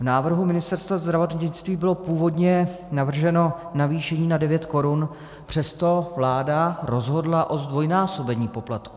V návrhu Ministerstva zdravotnictví bylo původně navrženo navýšení na 9 korun, přesto vláda rozhodla o zdvojnásobení poplatku.